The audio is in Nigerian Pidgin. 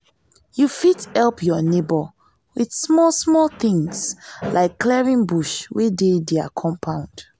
you fit help your neighbour with small small things like clearing bush wey dey their compund